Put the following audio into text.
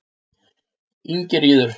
Ingiríður